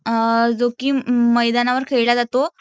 जो की मैदानावर खेळला जातो.